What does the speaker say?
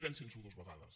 pensin s’ho dues vegades